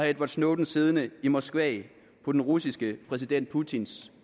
edward snowden siddende i moskva på den russiske præsident putins